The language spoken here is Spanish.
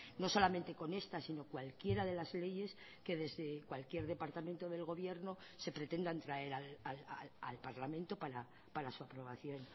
no solamente con estas sino cualquiera de las leyes que desde cualquier departamento del gobierno se pretendan traer al parlamento para su aprobación